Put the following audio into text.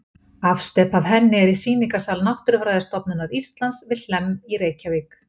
Afsteypa af henni er í sýningarsal Náttúrufræðistofnunar Íslands við Hlemm í Reykjavík.